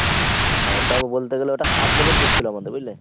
হ্যাঁ ওটা বলতে গেলে ওটা সাত দিনের tour ছিল আমাদের বুঝলে?